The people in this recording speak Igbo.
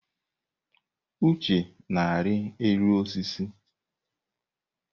Uche na-arị elu osisi.